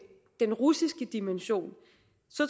den russiske dimension